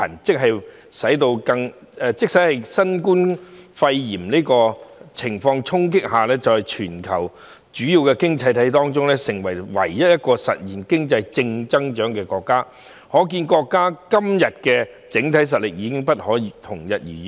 即使在新冠肺炎疫情衝擊下，中國亦能成為全球主要經濟體中唯一實現經濟正增長的國家，可見國家現今的整體實力已經不可同日而語。